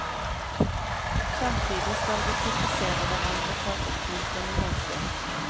Samtidig skal vi kritisere hverandre på en oppmuntrende måte.